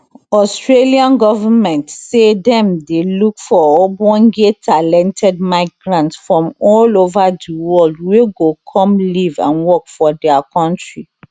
australian government say dem dey look for ogbonge talented migrants from all ova di world wey go come live and work for dia kontri